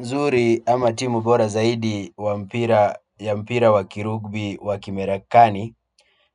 Zuri ama timu bora zaidi wa mpira ya mpira wa kirugbi wa kimerakani